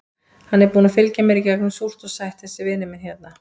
Hann er búinn að fylgja mér í gegnum súrt og sætt, þessi vinur minn hérna.